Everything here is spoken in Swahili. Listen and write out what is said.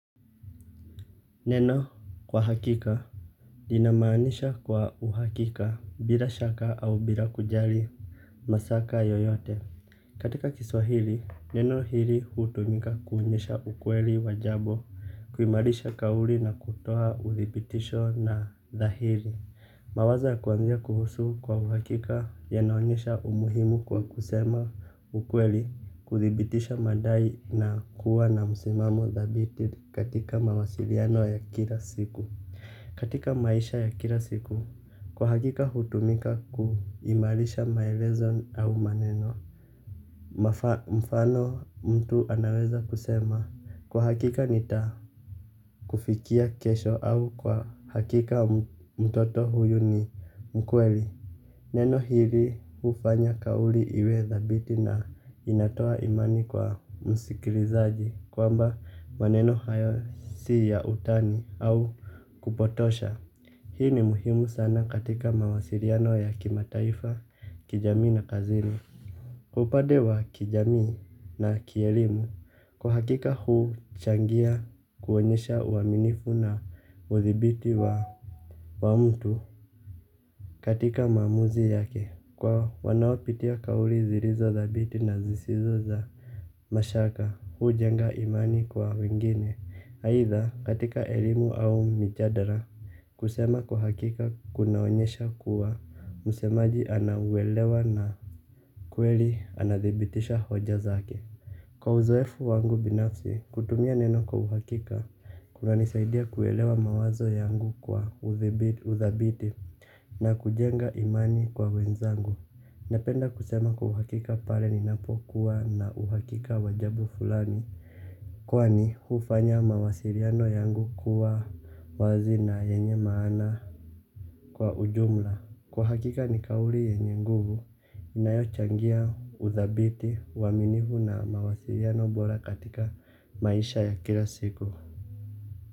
Neno kwa hakika linamanisha kwa uhakika bila shaka au bila kujali mashaka yoyote. Katika kiswahili, neno hili hutumika kuonyesha ukweli wa jambo. Kuimarisha kauli na kutoa uthibitisho na dhahiri. Mawazo ya kuanzia kuhusu kwa uhakika yanaonyesha umuhimu kwa kusema ukweli. Kuthibitisha madai na kuwa na musimamo dhabiti katika mawasiliano ya kila siku. Katika maisha ya kila siku kwa hakika hutumika kuimarisha maelezo au maneno. Mfano mtu anaweza kusema. Kwa hakika nita kufikia kesho au kwa hakika mtoto huyu ni mkweli. Neno hili ufanya kauli iwe dhabiti na inatoa imani kwa musikilizaji kwamba maneno hayo si ya utani au kupotosha. Hii ni muhimu sana katika mawasiriano ya kimataifa kijamii na kazini. Upade wa kijamii na kielimu kwa hakika huchangia kuonyesha uwaminifu na uthibiti wa mtu katika maamuzi yake kwa wanaopitia kauli zilizo dhabiti na zisizo za mashaka hujenga imani kwa wengine. Haidha katika elimu au mijadala kusema kwa hakika kunaonyesha kuwa msemaji anauelewa na kweli anadhibitisha hoja zake. Kwa uzoefu wangu binafsi kutumia neno kwa uhakika kuna nisaidia kuelewa mawazo yangu kwa uthabiti na kujenga imani kwa wenzangu. Napenda kusema kuhakika pale ninapokuwa na uhakika wa jambo fulani kwani hufanya mawasiliano yangu kuwa wazi na yenye maana kwa ujumla. Kwa hakika ni kauli yenye nguvu inayo changia uthabiti iwaminifu na mawasiliano bora katika maisha ya kila siku.